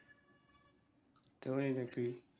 তাই নাকি?